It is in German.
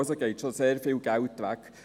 Also geht schon sehr viel Geld weg.